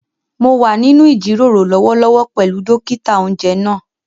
Mo wà nínú ìjíròrò lọ́wọ́lọ́wọ́ pẹ̀lú dókítà-oúnjẹ náà